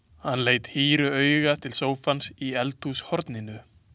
Hann leit hýru auga til sófans í eldhúshorninu.